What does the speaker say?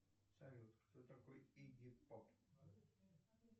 салют кто такой игги поп